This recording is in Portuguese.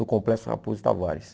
No Complexo Raposo Tavares.